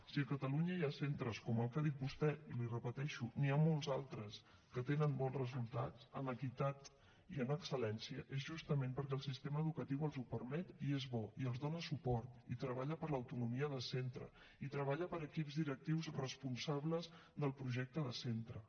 si a catalunya hi ha centres com el que ha dit vostè i l’hi repeteixo n’hi ha molts altres que tenen bons resultats en equitat i en excel·lència és justament perquè el sistema educatiu els ho permet i és bo i els dona suport i treballa per l’autonomia de centres i treballa per equips directius responsables del projecte de centres